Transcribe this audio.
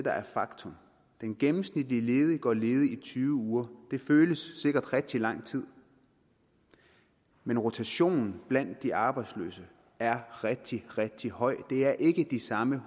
der er faktum den gennemsnitlige ledige går ledig i tyve uger det føles sikkert som rigtig lang tid men rotationen blandt de arbejdsløse er rigtig rigtig høj det er ikke de samme